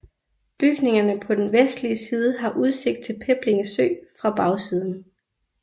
Bygningerne på den vestlige side har udsigt til Peblinge Sø fra bagsiden